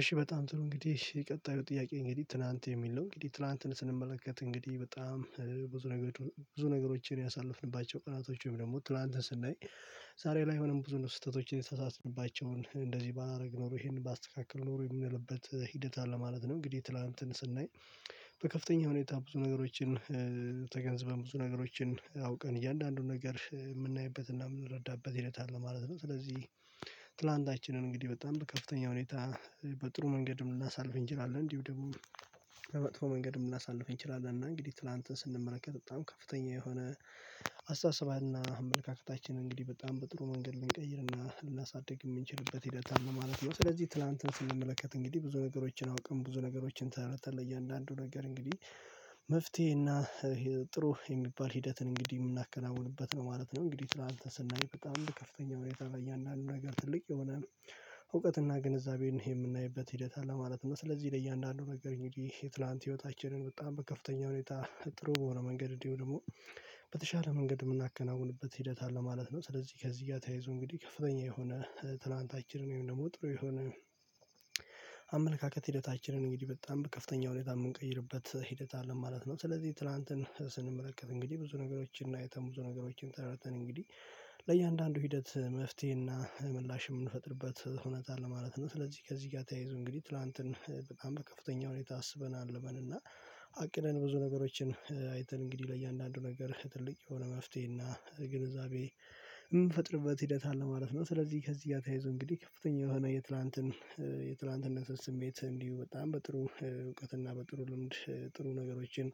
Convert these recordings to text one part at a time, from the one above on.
እሺ በጣም ጥሩ እንግዲህ የቀጣዩ ጥያቄ እንግዲህ ትላንት የሚል ነው። እንግዲህ ትላንትን ስንመለከት እንግዲህ በጣም ብዙ ነገሮችን ያሳለፍንባቸው ቀናቶች ወይም ደግሞ ትላንትና ስናይ ዛሬ ላይ ሆነን ብዙ ነው ስህተቶችን የተሳሳትንባቸውን እንደዚህ ባላደርግ ኖሮ ይሄንን ባስተካክል ኖሮ የሚልበት ሂደት አለ ማለት ነው። እንግዲህ ትላንትን ስናይ በከፍተኛ ሁኔታ ብዙ ነገሮችን ተገንዝበን ብዙ ነገሮችን አውቀን እያንዳንዱን ነገር የምናይበትና የምንረዳበት ሂደት አለ ማለት ነው። ስለዚህ ትላንታችንን እንግዲህ በጣም ከፍተኛ ሁኔታ በጥሩ መንገድም ልናሳልፍ እንችላለን እንዲሁ ደግሞ በመጥፎ መንገድም ልናሳልፈን እንችላለን። እና እንግዲህ ትላንትን ስንመለከት በጣም ከፍተኛ የሆነ አስተሳሰባ እና አመለካከታችን እንግዲህ በጣም በጥሩ መንገድ ልንቀይርና ልናሳድግ የምንችልበት ሂደት አለ ማለት ነው። ስለዚህ ትላንትን ስንመለከት እንግዲህ ብዙ ነገሮችን አውቅን ብዙ ነገሮችን ተረድተን ለእያንዳንዱ ነገር እንግዲህ መፍትሄ እና ጥሩ የሚባል ሂደትን እንግዲህ የምናከናውንበት ነው ማለት ነው። እንግዲህ ትላንት ስናይ በጣም ከፍተኛ መረጃ ላይ ያለው ነገር ትልቅ የሆነ እውቀት እና ግንዛቤን የምናይበት ሂደት አለ ማለት ነው። ስለዚህ ለእያንዳንዱ ነገር እንግድህ የትላንት ህይወታችንን በጣም በከፍተኛ ሁኔታ ጥሩ በሆነ መንገድ እንዲሁ ደግሞ በተሻለ መንገድ የምናከናውንበት ሂደት አለ ማለት ነው። ስለዚህ ከዚህ ጋር ተያይዞ እንግዲህ ከፍተኛ የሆነ ትላንታችንን ወይም ደግሞ ጥሩ የሆነ አመለካከት ሂደታችንን እንግዲህ በጣም በከፍተኛ ሁኔታ የምንቀይርበት ሂደት አለን ማለት ነው። ስለዚህ ትላንትን ስንመለከት እንግዲህ ብዙ ነገሮችን አይተን ብዙ ነገሮችን ተረተን እንግዲህ ለእያንዳንዱ ሂደት መፍትሄ እና ምላሽ የምንፈጥርበት እውነት አለ ማለት ነው። ስለዚህ ከዚህ ጋር ተያይዞ እንግዲህ ትላንትን በጣም በከፍተኛ ሁኔታ አስበናል ልበል እና አቅነን ብዙ ነገሮችን አይተን እንግዲህ ለእያንዳንዱ ነገር ትልቅ የሆነ መፍትሄ እና ግንዛቤ የምፈጥርበት ሂደት አለ ማለት ነው። ስለዚህ ከዚህ ጋር ተይዞ እንግዲህ ከፍተኛ የሆነ የትላንትን የትላንትነትን ስሜት እንዲሁ በጣም በጥሩ እውቀት እና በጥሩ ልምድ ጥሩ ነገሮችን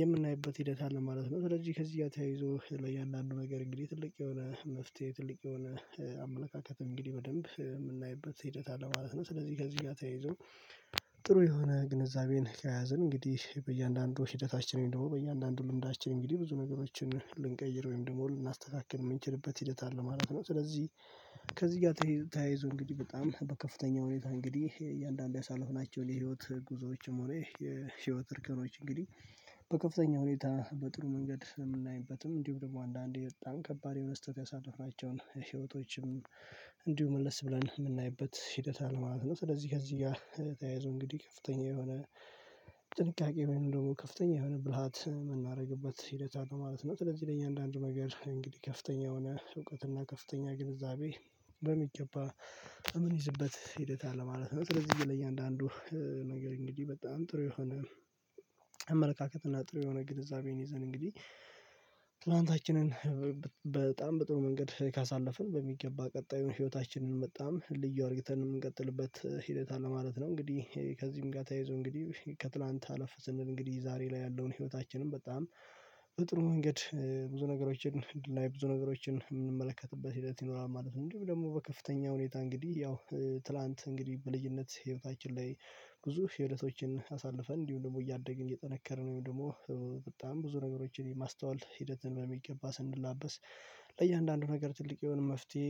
የምናይበት ሂደት አለ ማለት ነው። ስለዚህ ከዚህ ያተያይዞ ለእያንዳንዱ ነገር እንግዲህ ትልቅ የሆነ መፍትሄ ትልቅ የሆነ አመለካከት እንግዲህ በደንብ የምናይበት ሂደት አለ ማለት ነው። ስለዚህ ከዚህ ጋር ተያይዞ ጥሩ የሆነ ግንዛቤን ከያዘን እንግዲህ በእያንዳንዱ ሂደታችንን ደግሞ በእያንዳንዱ ልምዳችን እንግዲህ ብዙ ነገሮችን ልንቀይር ወይም ደግሞ ልናስተካክል የምንችልበት ሂደት አለ ማለት ነው። ስለዚህ ከዚህ ጋር ተያይዞ እንግዲህ በጣም በከፍተኛ ሁኔታ እንግዲህ እያንዳንዱ ያሰለፍናቸው የህይወት ጉዞዎችም ሆነ የህይወት እርከኞች እንግዲህ በከፍተኛ ሁኔታ በጥሩ መንገድ የምናይበትም እንዲሁም ደግሞ አንዳንዴ በጣም ከባድ የሆነ ስተት የሆነ ያሰልፍነቻው ህይወቶችም እንዲሁ መለስ ብለን የምናይበት ሂደት አለ ማለት ነው። ስለዚህ ከዚህ ጋር የተያያዘው እንግዲህ ከፍተኛ የሆነ ጥንቃቄ ወይንም ደግሞ ከፍተኛ የሆነ ብልሃት የምናደርግበት ሂደት አለው ነው ማለት ነው። ስለዚህ ለእያንዳንዱ ነገር እንግዲህ ከፍተኛ የሆነ እውቀት እና ከፍተኛ ግንዛቤ በሚገባ የምንይዝበት ሂደት አለ ማለት ነው። ስለዚህ ለእያንዳንዱ ነገር እንግዲህ በጣም ጥሩ የሆነ አመለካከት እና ጥሩ የሆነ ግንዛቤን ይዘን እንግዲህ ትላንታችንን በጣም በጥሩ መንገድ ካሳለፍን በሚገባ ቀጣዩን ህይወታችንን በጣም ልዩ አድርግተን የምንቀጥልበት ሂደት አለ ማለት ነው። እንግዲህ ከዚህም ጋር ተይዞ እንግዲህ ከትላንት አለፍ ስንል እንግዲህ ዛሬ ላይ ያለውን ህይወታችንን በጣም በጥሩ መንገድ ብዙ ነገሮችን እና የብዙ ነገሮችን የምንመለከትበት ሂደት ይኖራል ማለት ነው። እንድህም ደግሞ በከፍተኛ ሁኔታ እንግዲህ ያው ትላንት እንግዲህ በልጅነት ህይወታችን ላይ ብዙ ህደቶችን አሳልፈን እንዲሁ ደግሞ እያደግን እየጠነከርን ወይም ደግሞ በጣም ብዙ ነገሮችን የማስተዋል ሂደትን በሚገባ ስንላበስ ለእያንዳንዱ ነገር ትልቅ የሆነ መፍትሄ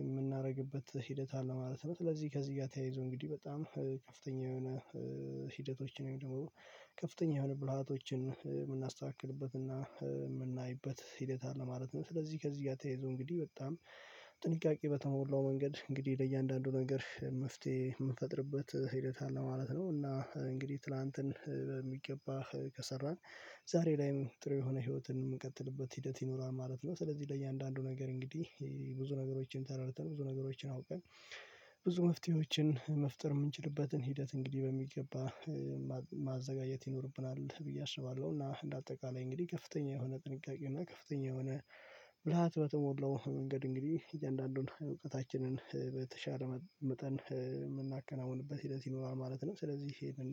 የምናደርግበት ሂደት አለ ማለት ነው። ስለዚህ ከዚህ ጋር ተያይዞ እንግዲህ በጣም ከፍተኛ የሆነ ሂደቶችን ወይም ደግሞ ከፍተኛ የሆነ ብልሃቶችን የምናስተካክልበት የምናይበት ሂደት አለ ማለት ነው። ስለዚህ ከዚህ ጋር ተያይዞ እንግዲህ በጣም ጥንቃቄ በተሞላው መንገድ እንግዲህ ለእያንዳንዱ ነገር መፍትሄ የምንፈጥርበት ሂደት አለ ማለት ነው። እና እንግዲህ ትላንትን በሚገባ ከሰራን ዛሬ ላይም ጥሩ የሆነ ህይወትን የምንቀጥልበት ሂደት ይኖራል ማለት ነው። ስለዚህ ለእያንዳንዱ ነገር እንግዲህ ብዙ ነገሮችን ተረድተን ብዙ ነገሮችን አውቀን ብዙ መፍትሄዎችን መፍጠር የምንችልበትን ሂደት እንግዲህ በሚገባ ማዘጋጀት ይኖርብናል ብዬ አስባለሁ። እና እንደ አጠቃላይ እንግዲህ ከፍተኛ የሆነ ጥንቃቄ እና ከፍተኛ የሆነ ብልሃት በተሞላው መንገድ እንግዲህ እያንዳንዱን እውቀታችንን በተሻለ መጠን የምናከናውንበት ሂደት ይኖራል ማለት ነው። ስለዚህ ይሄድን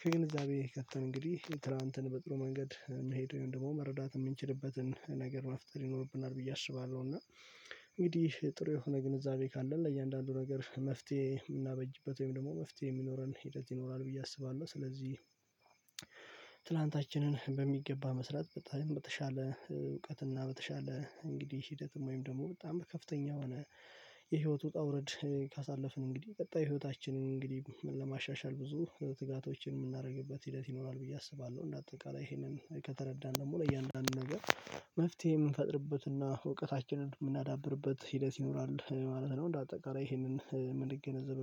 ከግንዛቤ ከተን እንግዲህ ትላንትን በጥሩ መንገድ የምሄደውን ደግሞ መረዳት የምንችልበትን ነገር መፍጠር ይኖርብናል ብዬ አስባለሁ። እና እንግዲህ ጥሩ የሆነ ግንዛቤ ካለን ለእያንዳንዱ ነገር መፍትሄ የምናበጅበት ወይም ደግሞ መፍትሄ የሚኖረን ሂደት ይኖራል ብዬ አስባለሁ። ስለዚህ ትላንታችንን በሚገባ መስራት በጣም በተሻለ እውቀትና በተሻለ እንግዲህ ሂደትም ወይም ደግሞ በጣም ከፍተኛ ሆነ የህይወት ውጣ ውረድ ካሳለፍን እንግዲህ ቀጣይ ህይወታችንን እንግዲህ ለማሻሻል ብዙ ትጋቶችን የምናደርግበት ሂደት ይኖራል ብዬ አስባለሁ። እና አጠቃላይ ይሄንን ከተረዳን ደግሞ ለእያንዳንዱ ነገር መፍትሄ የምንፈጥርበት እና እውቀታችንን የምናዳብርበት ሂደት ይኖራል ማለት ነው። እንደ አጠቃላይ ይሄንን ምን ይገነዘብ